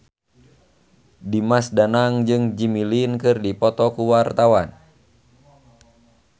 Dimas Danang jeung Jimmy Lin keur dipoto ku wartawan